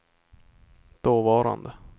dåvarande